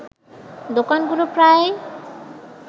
দোকানগুলো প্রায়